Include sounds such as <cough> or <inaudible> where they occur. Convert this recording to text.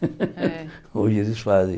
<laughs> É Hoje eles fazem.